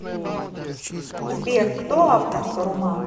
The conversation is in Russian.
сбер кто автор саруман